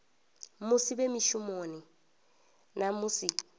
musi vhe mushumoni na musi